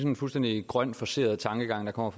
en fuldstændig grøn forceret tankegang der kommer